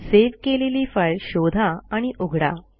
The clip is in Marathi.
सेव्ह केलेली फाईल शोधा आणि उघडा